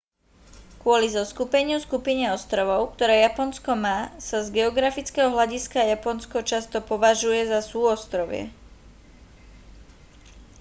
kvôli zoskupeniu/skupine ostrovov ktoré japonsko má sa z geografického hľadiska japonsko často považuje za súostrovie